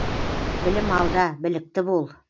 білім алда білікті бол